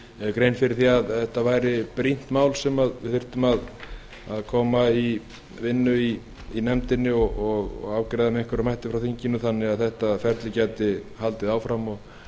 grein fyrir því að þetta væri brýnt mál sem við þyrftum að koma að vinnu í nefndinni og afgreiða með einhverjum hætti frá þinginu þannig að þetta ferli gæti haldið áfram og